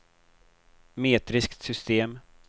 metriskt system